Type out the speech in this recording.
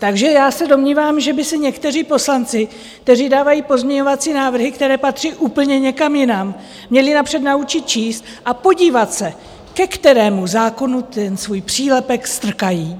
Takže já se domnívám, že by se někteří poslanci, kteří dávají pozměňovací návrhy, které patří úplně někam jinam, měli napřed naučit číst a podívat se, ke kterému zákonu ten svůj přílepek strkají.